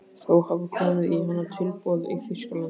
Þó hafa komið í hana tilboð í Þýskalandi.